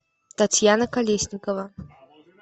татьяна колесникова